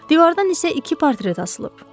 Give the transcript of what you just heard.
Divardan isə iki portret asılıb.